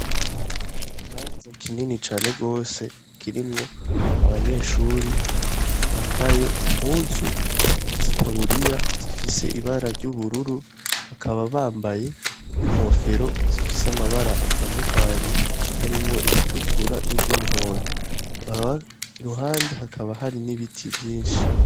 Ikibanza kinini cane gose kirimwo abanyeshure bambaye impuzu z' itaburiya zifise ibara ry' ubururu , bakaba bambaye n ' inkofero zifise amabara atandukanye harimwo iritukura n' iry' umuhondo , iruhande hakaba hariho ibiti vyinshi.